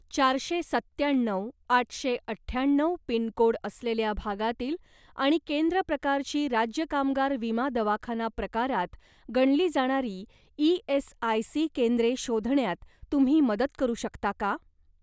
चारशे सत्त्याण्णव आठशे अठ्याण्णव पिनकोड असलेल्या भागातील आणि केंद्र प्रकारची राज्य कामगार विमा दवाखाना प्रकारात गणली जाणारी ई.एस.आय.सी. केंद्रे शोधण्यात तुम्ही मदत करू शकता का?